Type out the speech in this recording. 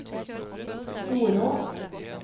Storå